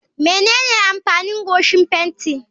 Menene amfanin goshin fenti?